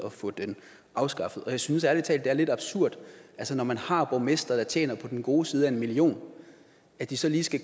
at få den afskaffet jeg synes ærlig talt er lidt absurd når man har borgmestre som tjener på den gode side af en million at de så lige skal